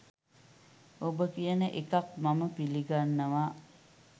ඔබ කියන එකක් මම පිලිගන්නවා